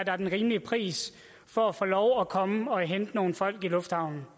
er den rimelige pris for at få lov at komme og hente nogle folk i lufthavnen